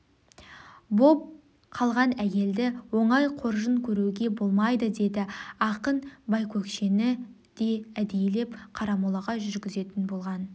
боп қалған әйелді оңай қоржын көруге болмайды деді ақын байкөкшені де әдейілеп қарамолаға жүргізетін болған